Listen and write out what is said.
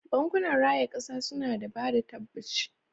Bankunan raya kasa suna da bada tabbaci.